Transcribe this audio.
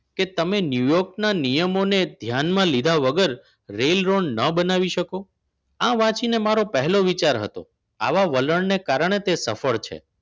કે તમે ન્યૂયોર્કના નિયમોને ધ્યાનમાં લીધા વગર રેલ રોડ ન બનાવી શકો. આ વાંચીને મારો પહેલો વિચાર હતો આવા વલણને કારણે તે સફળ છે